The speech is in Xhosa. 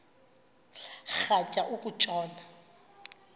rhatya uku tshona